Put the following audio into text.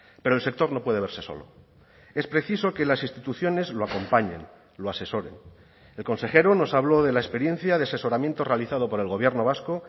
pero el sector no puede verse solo es preciso que las instituciones lo acompañen lo asesoren el consejero nos habló de la experiencia de asesoramiento realizado por el gobierno vasco